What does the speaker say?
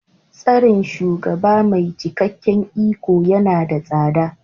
Tsarin shugaba mai cikakken iko yana da tsada.